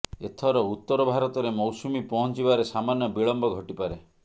ଏଥର ଉତ୍ତର ଭାରତରେ ମୌସୁମି ପହଞ୍ଚିବାରେ ସାମାନ୍ୟ ବିଳମ୍ବ ଘଟିପାରେ